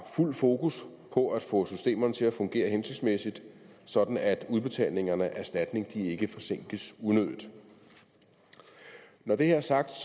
fuld fokus på at få systemerne til at fungere hensigtsmæssigt sådan at udbetalingerne af erstatning ikke forsinkes unødigt når det er sagt